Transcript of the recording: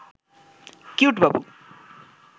cute Babu